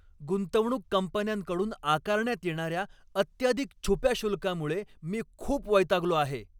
गुंतवणूक कंपन्यांकडून आकारण्यात येणार्या अत्याधिक छुप्या शुल्कामुळे मी खूप वैतागलो आहे.